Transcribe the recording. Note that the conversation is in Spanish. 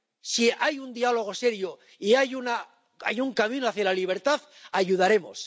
Si hay un diálogo serio y hay un camino hacia la libertad, ayudaremos.